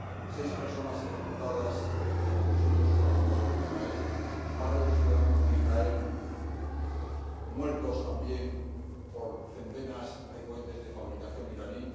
seis personas ejecutadas como presuntos colaboradores de Israel varios ciudadanos de Israel muertos también por centenas de cohetes de fabricación iraní